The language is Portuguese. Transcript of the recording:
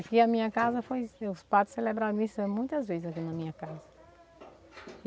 Aqui a minha casa foi os padres celebrar a missa muitas vezes aqui na minha casa.